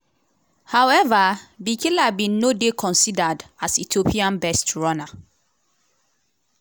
however bikila bin no dey considered as ethiopia best runner.